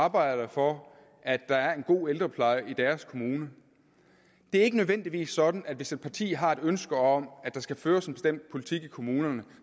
arbejder for at der er en god ældrepleje i deres kommune det er ikke nødvendigvis sådan at hvis et parti har et ønske om at der skal føres en bestemt politik i kommunerne